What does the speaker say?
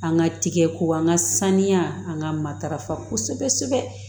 An ka tigɛko an ka saniya an ka matarafa kosɛbɛ kosɛbɛ